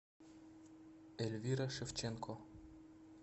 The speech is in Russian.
эльвира шевченко